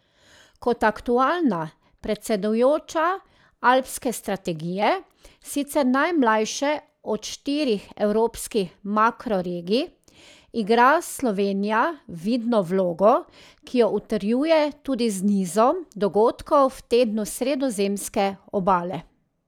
Kot aktualna predsedujoča Alpske strategije, sicer najmlajše od štirih evropskih makroregij, igra Slovenija vidno vlogo, ki jo utrjuje tudi z nizom dogodkov v tednu Sredozemske obale.